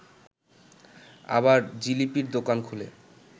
আবার জিলিপির দোকান খুলে